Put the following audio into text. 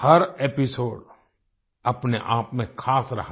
हर episode अपने आप में खास रहा